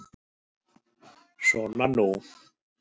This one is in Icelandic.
Svona nú.